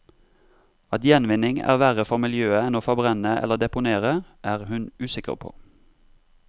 At gjenvinning er verre for miljøet enn å forbrenne eller deponere, er hun usikker på.